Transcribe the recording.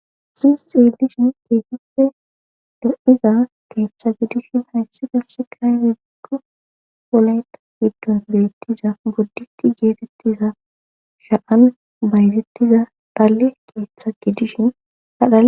hayssi xeelishin keehippe e lo7iza keeththa gidishin hayssi gasse kay wibikko polayta giddon beettiza boddisti geefettiza sha7an bayzettiza daalle keeththa gidishin adha